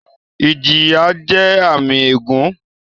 Ìjìyà jẹ́ àmì ègún